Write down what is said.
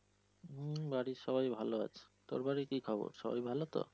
হম বাড়ির সবাই ভালো আছে। তারপরে কি খবর সবাই ভালো তো?